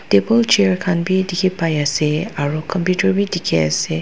Ekul chair khan beh dekhe pai ase aro computer beh dekhe ase.